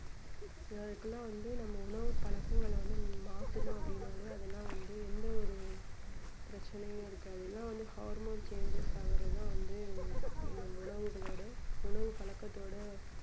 அதுக்கெல்லாம் வந்து நம்ம உணவு பழக்கங்களை வந்து மாத்தணும் அப்படின்னாலே அதெல்லாம் வந்து எந்த ஒரு பிரச்சனையும் இருக்காது இல்லனா வந்து harmon changes ஆகுறது தான் வந்து நம் உணவுகளோட உணவு பழக்கத்தோட